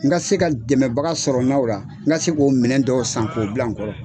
N ka se ka dɛmɛbaga sɔrɔ n na o la, n ka se k'o minɛw dɔw san k' o bila n kɔrɔ.